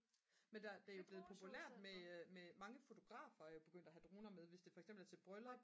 men det er blevet populært med mange fotografer er jo begyndt at have droner med hvis det for eksempel er til bryllup